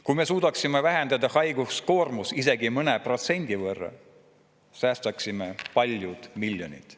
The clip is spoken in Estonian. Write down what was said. Kui me suudaksime vähendada haigestumistest tulenevat koormust isegi mõne protsendi võrra, säästaksime palju miljoneid.